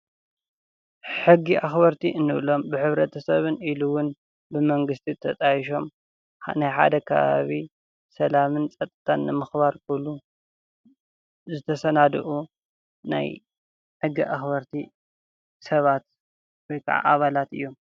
ሕጊ ኣኽበርቲ እንብሎም ብሕብረተሰብን ኢሉ እውን ብመንግስቲ ተጣይሾም ናይ ሓደ ከባቢ ሰላምን ፀጥታን ንምኽባር ዝተሰናድኡ ናይ ሕጊ ኣክበርቲ ሰባት ወይ ከዓ ኣባላት እዮም።